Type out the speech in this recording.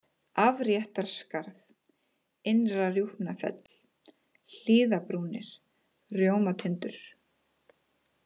Afréttarskarð, Innra-Rjúpnafell, Hlíðabrúnir, Rjómatindur